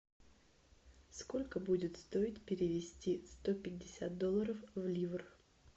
сколько будет стоить перевести сто пятьдесят долларов в ливр